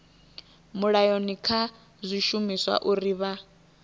mulayoni kha zwishumiswa uri vha